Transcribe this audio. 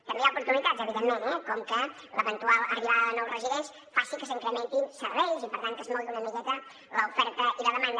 també hi ha oportunitats evidentment eh com que l’eventual arribada de nous residents faci que s’incrementin serveis i per tant que es mogui una miqueta l’oferta i la demanda